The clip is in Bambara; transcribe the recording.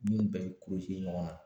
Ɲiw bɛɛ bɛ ɲɔgɔnna